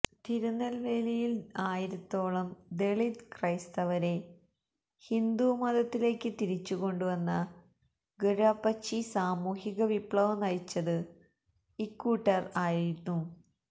തിരുനെല്വേലിയില് ആയിരത്തോളം ദളിത് ക്രൈസ്തവരെ ഹിന്ദു മതത്തിലേക്ക് തിരിച്ചു കൊണ്ട് വന്ന ഘര്വാപ്പച്ചി സാമൂഹിക വിപ്ലവം നയിച്ചത് ഇക്കൂട്ടര് ആയിരുന്നു